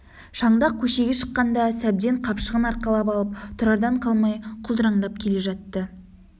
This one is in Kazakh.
шандақ көшеге шыққанда сәбден қапшығын арқалап алып тұрардан қалмай құлдыраңдап келе жатты